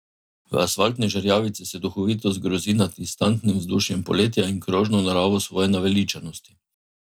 V Asfaltni žerjavici se duhovito zgrozi nad instantnim vzdušjem poletja in krožno naravo svoje naveličanosti.